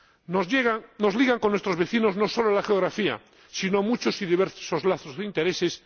Nos ligan con nuestros vecinos no solo la geografía sino también muchos y diversos lazos de intereses.